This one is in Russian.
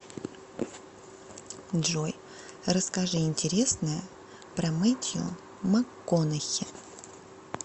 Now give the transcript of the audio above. джой расскажи интересное про метью макконахи